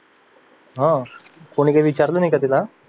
अह कोणी काही विचारलं नाही का त्याला